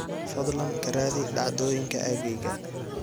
fadlan ka raadi dhacdooyinka aaggayga